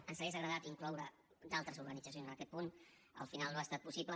ens hagués agradat incloure d’altres organitzacions en aquest punt al final no ha estat possible